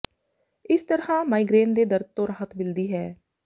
ਇਸ ਤਰ੍ਹਾਂ ਮਾਈਗਰੇਨ ਦੇ ਦਰਦ ਤੋਂ ਰਾਹਤ ਮਿਲਦੀ ਹੈ